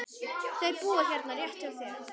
Þau búa hérna rétt hjá.